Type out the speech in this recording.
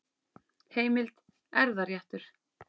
Heimild: Erfðaréttur.